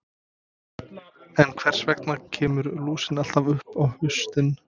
En hvers vegna kemur lúsin alltaf upp á haustin?